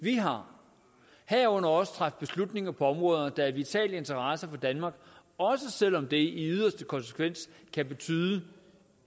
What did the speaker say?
vi har herunder også træffer beslutninger på områder der er af vital interesse for danmark også selv om det i yderste konsekvens kan betyde